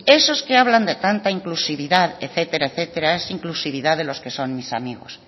esos que hablan de tanta inclusividad etcétera etcétera es inclusividad de los que son mis amigos